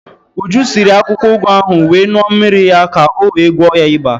Uju siri akwukwo ụgụ ahụ wee ṅuọ mmiri ya ka o wee gwọọ ya iba.